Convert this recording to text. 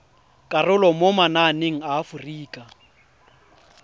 karolo mo mananeng a aforika